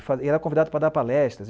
E era convidado para dar palestras.